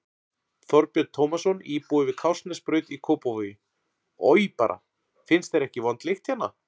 Þorbjörn Tómasson, íbúi við Kársnesbraut í Kópavogi: Oj bara, finnst þér ekki vond lykt hérna?